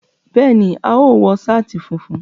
Béèni, a óò wo sáàtì funfun